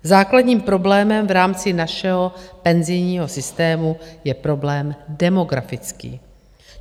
Základním problémem v rámci našeho penzijního systému je problém demografický.